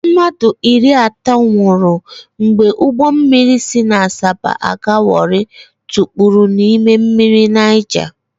Mmadụ iri atọ nwụrụ mgbe ụgbọ mmiri si Asaba aga Warri kpuru na mmiri Naija.